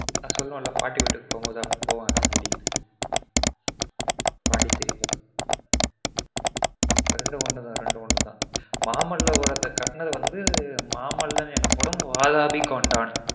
நான் சொல்லுவன்ல பாட்டி வீட்டுக்கு போகும் போது அங்க போவனு பாண்டிசேரி இரெண்டும் ஒன்னு தான் ரெண்டும் ஒன்னு தான் மாமல்லபுரத்த கட்டுனது வந்து மாமல்லன் எனப்படும் பாலாபி கொண்டான்